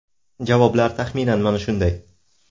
Javoblar taxminan mana shunday.